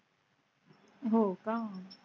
हो का?